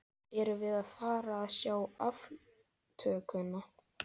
Erum við að fara að sjá aftökuna?